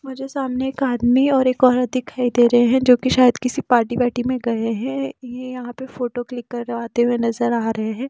मुझे सामने एक आदमी और एक औरत दिखाई दे रहे हैंजो कि शायद किसी पार्टी वाटी में गए हैं यहां पे फोटो क्लिक करवाते हुए नजर आ रहे हैं ।